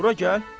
Bura gəl.